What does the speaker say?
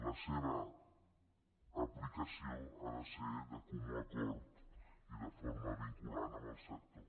la seva aplicació ha de ser de comú acord i de forma vinculant amb el sector